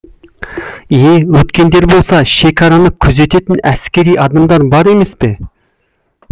е өткендер болса шекараны күзететін әскери адамдар бар емес пе